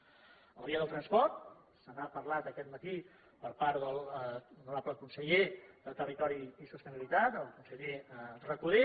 de la via del transport se n’ha parlat aquest matí per part de l’honorable conseller de territori i sostenibilitat el conseller recoder